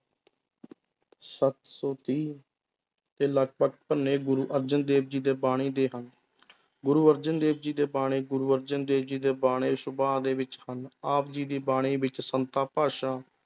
ਸੱਤ ਸੌ ਤੀਹ ਦੇ ਲਗਪਗ ਪੰਨੇ ਗੁਰੂ ਅਰਜਨ ਦੇਵ ਜੀ ਦੇ ਬਾਣੀ ਦੇ ਹਨ ਗੁਰੂ ਅਰਜਨ ਦੇਵ ਜੀ ਦੀ ਬਾਣੀ ਗੁਰੂ ਅਰਜਨ ਦੇਵ ਜੀ ਦੇ ਬਾਣੀ ਦੇ ਵਿੱਚ ਹਨ ਆਪ ਜੀ ਦੀ ਬਾਣੀ ਵਿੱਚ ਸੰਤਾਂ ਭਾਸ਼ਾ